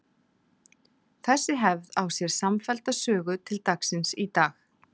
Þessi hefð á sér samfellda sögu til dagsins í dag.